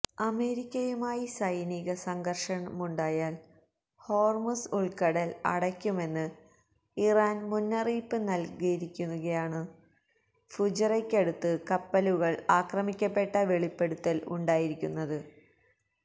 അമേരിക്കയുമായി െസെനിക സംഘര്ഷമുണ്ടായാല് ഹോര്മുസ് ഉള്ക്കടല് അടയ്ക്കുമെന്ന് ഇറാന് മുന്നറിയിപ്പ് നല്കിയിരിക്കെയാണു ഫുെജെറയ്ക്കടുത്ത് കപ്പലുകള് ആക്രമിക്കപ്പെട്ടെന്ന വെളിപ്പെടുത്തല് ഉണ്ടായിരിക്കുന്നത്